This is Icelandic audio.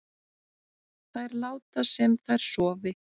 Þær láta sem þær sofi